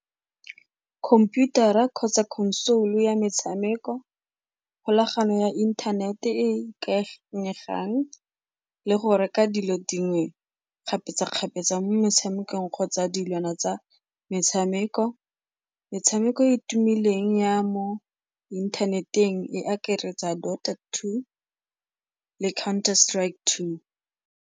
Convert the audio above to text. Computer-a kgotsa console ya metshameko, kgolagano ya inthanete e e ikanyegang le go reka dilo dingwe kgapetsakgapetsa mo motshamekong kgotsa dilwana tsa metshameko. Metshameko e e tumileng ya mo inthaneteng e akaretsa two le counter strike two.